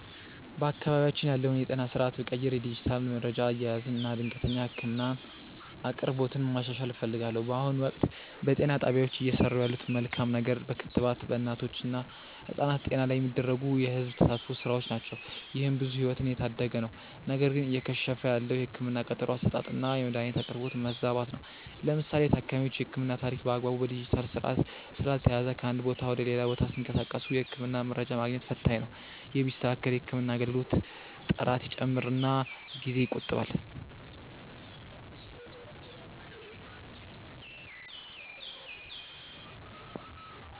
በአካባቢያችን ያለውን የጤና ስርዓት ብቀይር የዲጂታል መረጃ አያያዝን እና የድንገተኛ ህክምና አቅርቦትን ማሻሻል እፈልጋለሁ። በአሁኑ ወቅት፣ በጤና ጣቢያዎች እየሰሩ ያለት መልካም ነገር በክትባት በእናቶች እና ህጻናት ጤና ላይ የሚደረጉ የህዝብ ተሳትፎ ስራዎች ናቸው። ይህም ብዙ ህይወትን እየታደገ ነው። ነገር ግን እየከሸፈ ያለው የህክምና ቀጠሮ አሰጣጥና የመድኃኒት አቅርቦት መዛባት ነው። ለምሳሌ የታካሚዎች የህክምና ታሪክ በአግባቡ በዲጂታል ስርዓት ስላልተያያዘ ከአንድ ቦታ ወደ ሌላ ቦታ ሲንቀሳቀሱ የህክምና መረጃ ማግኘት ፈታኝ ነው። ይህ ቢስተካከል የህክምና አገልግሎት ጥራት ይጨምርና ጊዜ ይቆጥባል።